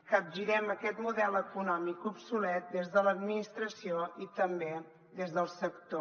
capgirem aquest model econòmic obsolet des de l’administració i també des del sector